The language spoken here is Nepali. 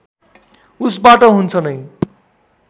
उसबाट हुन्छ नै